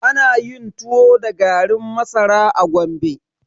Ana yin tuwo da garin masara a Gombe.